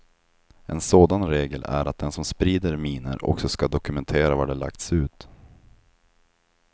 En sådan regel är att den som sprider minor också skall dokumentera var de lagts ut.